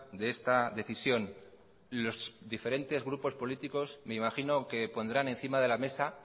de esta decisión los diferentes grupos políticos me imagino que pondrán encima de la mesa